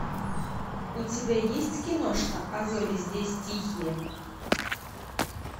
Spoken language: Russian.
у тебя есть киношка а зори здесь тихие